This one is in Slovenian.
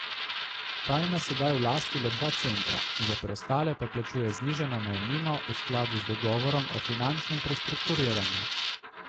Ta ima sedaj v lasti le dva centra, za preostale pa plačuje znižano najemnino v skladu z dogovorom o finančnem prestrukturiranju.